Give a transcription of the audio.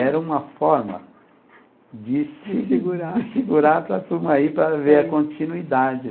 Era uma forma de segurar, de segurar para a turma ir para ver a continuidade.